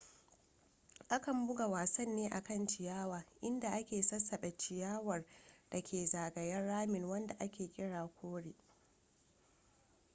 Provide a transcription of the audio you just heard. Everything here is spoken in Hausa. akan buga wasan ne a kan ciyawa inda a ke sassabe ciyawar da ke zagayen ramin wanda a ke kira kore